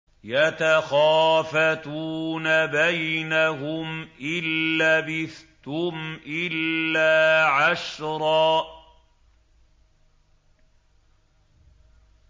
يَتَخَافَتُونَ بَيْنَهُمْ إِن لَّبِثْتُمْ إِلَّا عَشْرًا